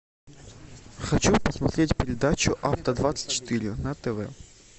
хочу посмотреть передачу авто двадцать четыре на тв